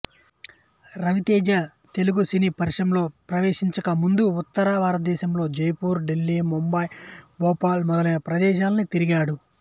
రవితేజ తెలుగు సినీ పరిశ్రమలో ప్రవేశించక ముందు ఉత్తర భారతదేశంలో జైపూర్ ఢిల్లీ ముంబై భోపాల్ మొదలైన ప్రదేశాలన్నీ తిరిగాడు